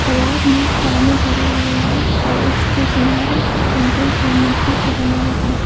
तालाब में पानी भरा हुआ है और इसके किनारे कंक्रीट या मिट्टी से बना हुआ--